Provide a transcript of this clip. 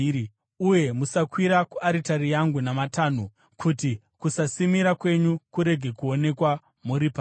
Uye musakwira kuaritari yangu namatanho, kuti kusasimira kwenyu kurege kuonekwa muri pairi.’